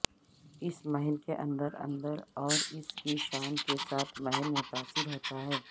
اس محل کے اندر اندر اور اس کی شان کے ساتھ محل متاثر ہوتا ہے